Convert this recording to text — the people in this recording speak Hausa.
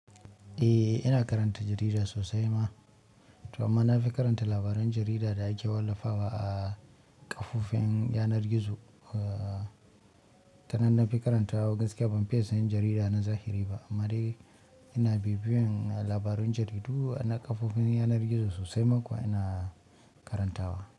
Eh, ina karanta jarida sosai ma, to amma na fi karanta labaran jarida da ake wallafa wa a kafofin yanar gizo. Aaa, tanan na fi karantawa gaskiya ban fiya sayen jarida na zahiri ba amma dai ina bibiyan labaran jaridu ana kafofin yanar gizo sosai ma kuwa ina karantawa.